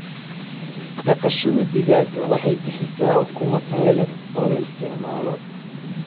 Dhaqashada digaaga waxay bixisaa ukumo tayo leh oo la isticmaalo.